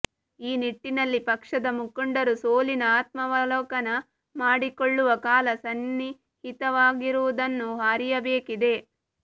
ಈ ನಿಟ್ಟಿನಲ್ಲಿ ಪಕ್ಷದ ಮುಖಂಡರು ಸೋಲಿನ ಆತ್ಮಾವಲೋಕನ ಮಾಡಿಕೊಳ್ಳುವ ಕಾಲ ಸನ್ನಿಹಿತವಾಗಿರುವುದನ್ನು ಅರಿಯಬೇಕಿದೆ